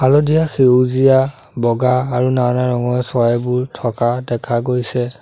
হালধীয়া সেউজীয়া বগা আৰু নানা ৰঙৰ চৰাইবোৰ থকা দেখা গৈছে।